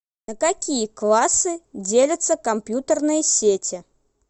на какие классы делятся компьютерные сети